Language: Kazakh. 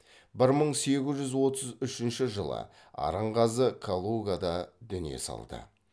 бір мың сегіз жүз отыз үшінші жылы арынғазы калугада дүние салды